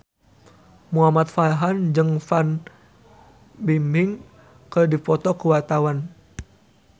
Muhamad Farhan jeung Fan Bingbing keur dipoto ku wartawan